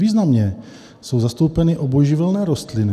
Významně jsou zastoupeny obojživelné rostliny.